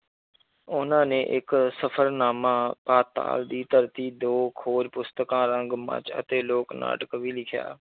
ਉਹਨਾਂ ਨੇ ਇੱਕ ਸਫ਼ਰਨਾਮਾ ਪਾਤਾਲ ਦੀ ਧਰਤੀ ਦੋ ਕੁ ਹੋਰ ਪੁਸਤਕਾਂ, ਰੰਗ ਮੰਚ ਅਤੇ ਲੋਕ ਨਾਟਕ ਵੀ ਲਿਖਿਆ।